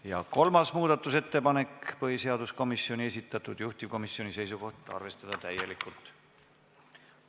Ja kolmas muudatusettepanek, põhiseaduskomisjoni esitatud, juhtivkomisjoni seisukoht: arvestada täielikult.